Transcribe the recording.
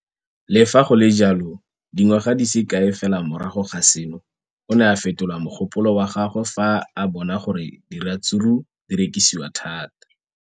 Le fa go le jalo, dingwaga di se kae fela morago ga seno, o ne a fetola mogopolo wa gagwe fa a bona gore diratsuru di rekisiwa thata.